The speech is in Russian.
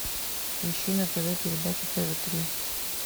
ищи на тв передачу тв три